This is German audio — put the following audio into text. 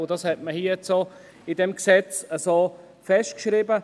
Das hat man in diesem Gesetz so festgeschrieben.